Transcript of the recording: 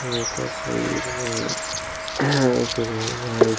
यह तस्वीर में एक रूम है जो--